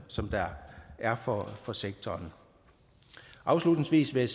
som der er for for sektoren afslutningsvis vil